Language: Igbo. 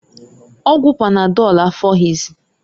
Ọgwụ panadọlụ afoghịzịị.